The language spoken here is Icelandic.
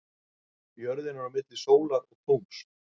Jörðin er þá milli sólar og tungls.